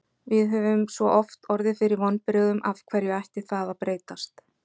Við höfum svo oft orðið fyrir vonbrigðum, af hverju ætti það að breytast?